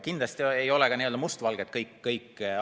Kindlasti ei ole asjad ka mustad või valged.